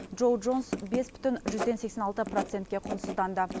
джоу джонс бес бүтін жүзден сексен алты процентке құнсызданды